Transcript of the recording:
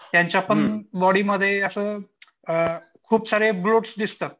त्यांच्यापण बॉडीमध्ये असं खुपसारे दिसतात.